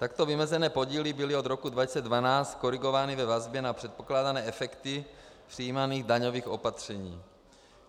Takto vymezené podíly byly od roku 2012 korigovány ve vazbě na předpokládané efekty přijímaných daňových opatření.